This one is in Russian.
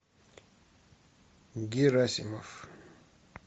герасимов